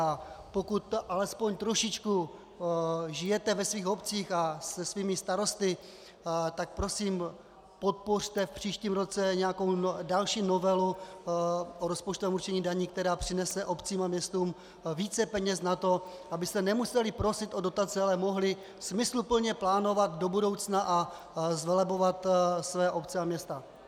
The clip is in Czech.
A pokud alespoň trošičku žijete ve svých obcích a se svými starosty, tak prosím podpořte v příštím roce nějakou další novelu o rozpočtovém určení daní, která přinese obcím a městům více peněz na to, abyste nemuseli prosit o dotace, ale mohli smysluplně plánovat do budoucna a zvelebovat své obce a města.